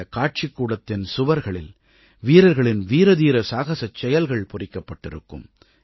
இந்தக் காட்சிக்கூடத்தின் சுவர்களில் வீரர்களின் வீரதீர சாகசச் செயல்கள் பொறிக்கப்பட்டிருக்கும்